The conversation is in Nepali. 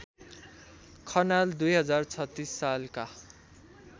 खनाल २०३६ सालका